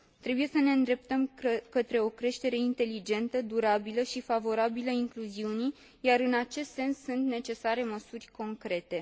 Trebuie să ne îndreptăm către o creștere inteligentă, durabilă și favorabilă incluziunii, iar în acest sens sunt necesare măsuri concrete.